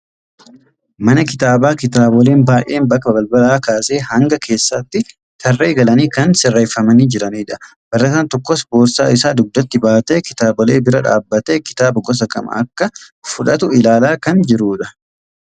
Mana kitaabaa kitaaboleen baay'een bakka balbalaa kaasee hanga keessaatti tarree galanii kan sirreeffamanii jiranidha. Barataan tokkos boorsaa isaa dugdattii baatee kitaabolee bira dhaabatee kitaaba gosa kam akka fudhatu ilaalaa kan jirudha.